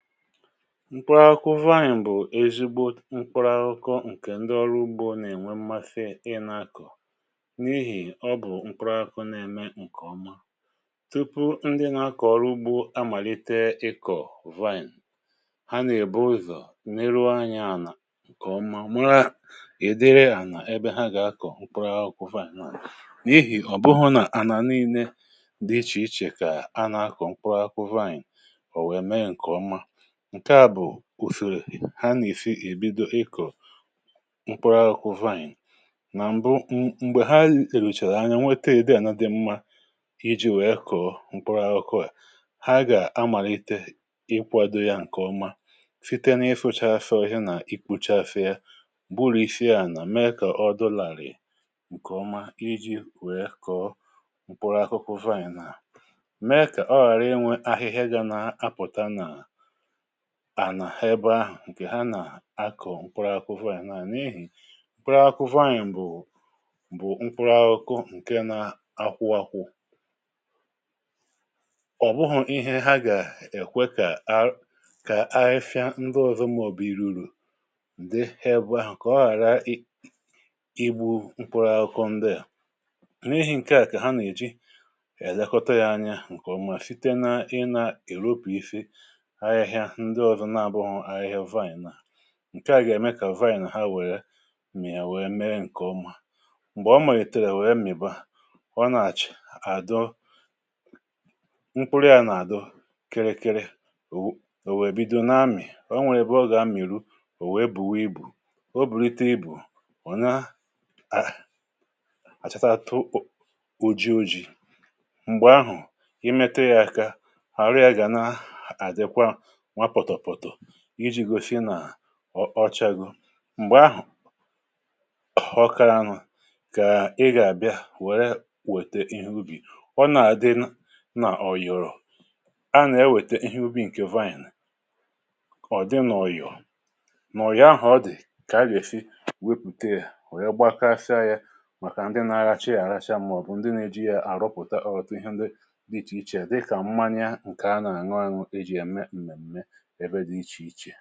Mkpụrụ akụkụ vine bụ̀ ezigbo mkpụrụ akụku ǹkè ndị ọrụ ugbȯ nà-ènwe mmasi ị nà-akọ̀ n’ihì ọ bụ̀ mkpụrụ akụkụ nà-ème ǹkè ọma, tupu ndị nà-akọ̀ ọrụ ugbȯ amàlite ikọ̀ vine, ha nà-èbu ụzọ̀ neruo anya ànà ǹkè ọma màra ị̀ dịrị ànà ebe ha gà-akọ̀ mkpụrụ akụkụ vine a n’ihì ọ̀ bụhụ nà ànà nii̇ne dị ichè ichè kà a nà-akọ̀ mkpụrụ akụkụ vine ọ wee mee nke ọma, ǹke à bụ̀ ùsòrò ha nà-èsì èbido ịkọ̀ mkpụrụ akụkụ vaị̀ǹ, Nà m̀bụ m m m̀gbè ha lelùchàrà anyȧ nwete udi ana di mmȧ iji̇ wèe kọ̀ọ mkpụrụ akụkụ à, ha gà-amàlite ịkwȧdȯ yȧ ǹkèọma site na isuchasịa ohia nà i kpochasịa gburusie ȧnà mee kà ọdi làrị̀ ǹkè ọma iji̇ wèe kọ̀ọ mkpụrụ akụkụ vaị̀ǹ a, mee kà ọ ghàra inwė ahịhịa gà-na apụ̀ta n' ànà ha ebe ahụ̀ ǹkè ha nà-akọ̀ mkpụrụ akụkụ vaịn bụ mkpụrụ akụkụ nke na-akwụ akwụ ọ̀bụhụ̇ ihe ha gà-èkwe kà a kà ahịhịa ndụ ọ̀zọ maọbụ̀ iru̇ urù ǹde di ebù ahụ̀ kà ọ ghàra ị ịgbụ̇ mkpụrụ akụkụ ndịà, n’ihì ǹkè a kà ha nà-èji èlekota ya anya ǹkè ọ̀mà site na i nà èropuisi ahịhịa nde ọzọ na-abuho ahịhịa vaịn a, ǹkeà gà-ème kà vaị̀n ha mia wèe mee ǹkè ọma, m̀gbè o malitèrè wèe m̀iba, ọnà-àchà àdọ mkpụrụ ya nà-àdọ kirikiri, ò wèe bido na-amị̀, o nwèrè ebe ọ gà-amị̀ru ò wèe bùwe ibù o bụ̀litȧ ibù, ò na à àchata atụ oji̇ oji̇, m̀gbè ahụ̀ ị metụ yȧ aka, arụ ga-na adịkwa nwa potopoto iji̇ gȯsi̇ nà ọ ọchȧgo m̀gbè ahụ̀ ọ karȧ nụ̀ kà ị gà-àbịa wèe wète ihe ubi, ọ nà-àdị nà ọ yòrò, a nà-ewète ihe ubi̇ ǹkè vaịnị̀ ọ̀ dị nà ọ yòò nà ọ̀yo ahụ̀ ọdị̀ kà a gà-èsi wepùte ya wee gbakasia ya màkà ndị nà-alacha ya àracha màọ̀bụ̀ ndị nȧ-ėji ya àrụpụ̀ta otụtụ ihe ndị dị ichè ichè dịkà mmanya ǹkè a nà-àñụ añụ e ji ya mee m̀mèmme ebe dị ichè ichè.